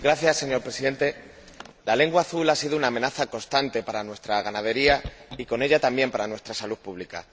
Señor Presidente, la lengua azul ha sido una amenaza constante para nuestra ganadería y con ella también para nuestra salud pública.